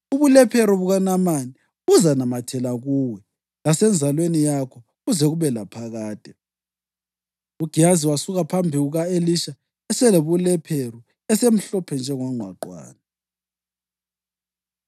Ubulephero bukaNamani buzanamathela kuwe lasenzalweni yakho kuze kube laphakade.” UGehazi wasuka phambi kuka-Elisha eselobulephero esemhlophe njengongqwaqwane.